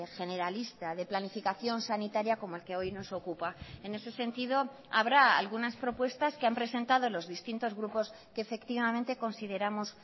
generalista de planificación sanitaria como el que hoy nos ocupa en ese sentido habrá algunas propuestas que han presentado los distintos grupos que efectivamente consideramos